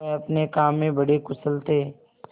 वह अपने काम में बड़े कुशल थे